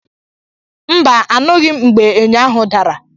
Mba, anụghị m mgbe ényò ahụ dara.